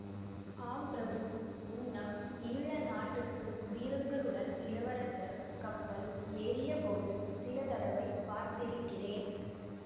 ஆம் பிரபு முன்னம் ஈழ நாட்டுக்கு வீரர்களுடன் இளவரசர் கப்பல் ஏறியபோது சில தடவை பார்த்திருக்கிறேன்